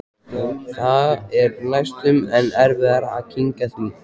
Það er næstum enn erfiðara að kyngja því.